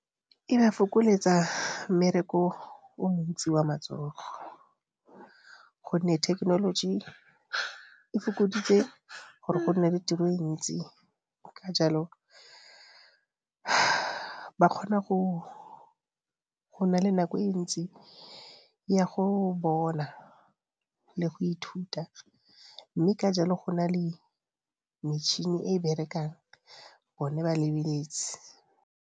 E ba fokoletsa mmereko o montsi wa matsogo, gonne thekenoloji e fokoditse gore go nne tiro ntsi ka jalo ba kgona go na le nako e ntsi ya go bona le go ithuta mme ka jalo go na le metšhini e e berekang bone ba lebeletse.